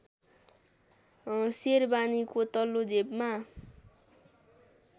सेरबानीको तल्लो जेबमा